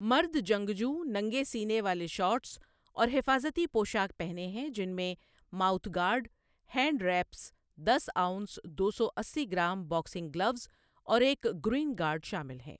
مرد جنگجو ننگے سینے والے شارٹس اور حفاظتی پوشاک پہنے ہیں جن میں ماؤتھ گارڈ، ہینڈ ریپس، دس آونس دو سو اسی گرام باکسنگ گلوز اور ایک گروئن گارڈ شامل ہیں۔